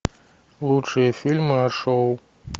лучшие фильмы о шоу